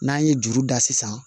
N'an ye juru da sisan